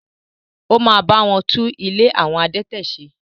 Ó ma bá wọn tún “ ilé àwọn adẹtẹ̀” se.